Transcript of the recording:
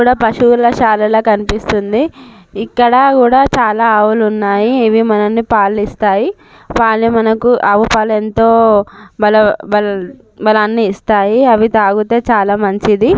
ఇక్కడ పశువులశాలలా కనిపిస్తుంది. ఇక్కడ కూడా చాలా ఆవులు ఉన్నాయి. ఇవి మనల్ని పాలిస్తాయి. పాలు మనకు ఆవు పాలు ఎంతో బలో- బల- బలాన్ని ఇస్తాయి. అవి తాగుతే చాలా మంచిది.